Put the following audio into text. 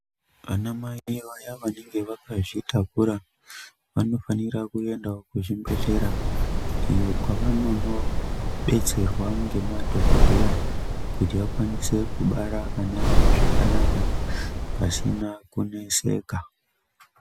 Ana mai vaye vanenge vakazvitakura vanofanira kuendavo kuzvibhedhlera iyo kwavanono betserwa ngemadhogodheya. Kuti akwanise kubara ana avo zvakanaka pasina kuneseka.